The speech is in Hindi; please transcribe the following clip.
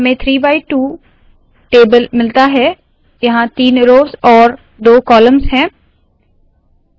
हमें 3 बाय 2 टेबल मिलता है यहाँ तीन रोव्स और दो कॉलम्स है